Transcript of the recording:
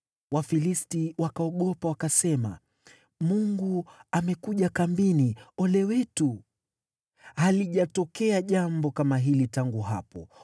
Wafilisti wakaogopa, wakasema, “Mungu amekuja kambini, ole wetu. Halijatokea jambo kama hili tangu hapo.